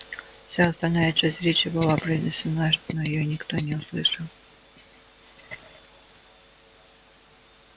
вся остальная часть речи была произнесена но её никто не услышал